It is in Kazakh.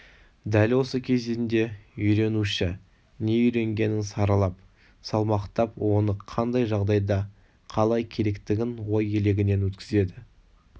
дәл осы кезеңде үйренуші не үйренгенін саралап салмақтап оны қандай жағдайда қалай керектігін ой елегінен өткізеді